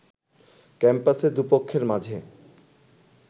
ক্যাম্পাসে দুপক্ষের মাঝে